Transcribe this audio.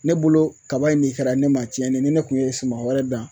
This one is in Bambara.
Ne bolo kaba in de kɛra ne ma tiɲɛ ne ye ni ne kun ye suman wɛrɛ dan